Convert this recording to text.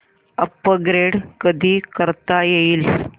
upgrade कधी करता येईल